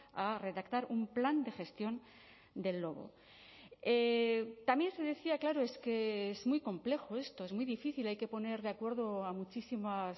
a redactar un plan de gestión del lobo también se decía claro es que es muy complejo esto es muy difícil hay que poner de acuerdo a muchísimas